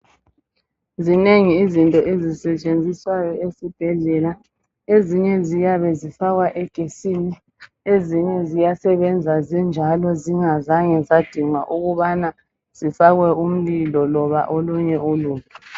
zinengi izinto ezisetshenziswayo esibhedlela ezinye ziyabe zifakwa egetsini ezinye ziyasebenza zinjalo zingazange zadingwa ukufakwa umlilo noba olunye ulutho